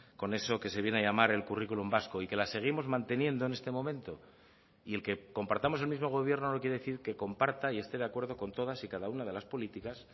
con eso que se viene a llamar el currículum vasco y que las seguimos manteniendo en este momento y el que compartamos el mismo gobierno no quiere decir que comparta y esté de acuerdo con todas y cada una de las políticas